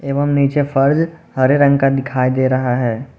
एवं नीचे फर्श हरे रंग का दिखाई दे रहा है।